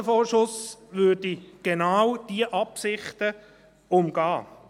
Ein Kostenvorschuss würde genau diese Absichten umgehen.